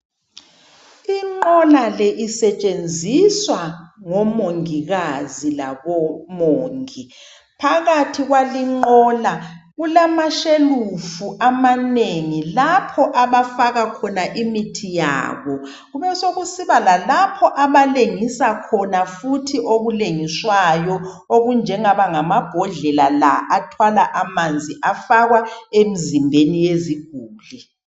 Inqola le isetshenziswa ngomongikazi labomongi. Phakathi kwale inqola kulamashelufu amanengi. Lapho abafaka khona imithi yabo. Kubule sekusiba futhi lalapho abalengisa khona futhi okulengiswayo, okunjengamabhodlela la athwala amanzi afakwa emzimbeni yeziguli.